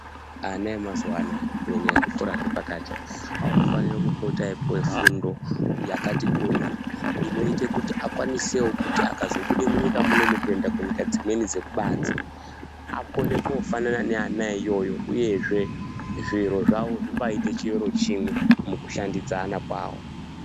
Ana emazuwa anoaya kunyanya ezvikora zvepakati anofanire kupota eipuwe fundo yakati kure, inoite kuti akwanisewo kuti akazobude munyika muno kuende kunyika dzimweni dzekubanzi akone, kofanana neana eiyoyo uyezve zviro zvawo zvibaa aite chiro chimwe mukushandidzana kwawo.